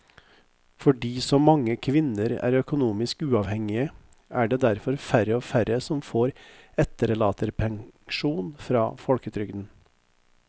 Fordi så mange kvinner er økonomisk uavhengige er det derfor færre og færre som får etterlattepensjon fra folketrygden.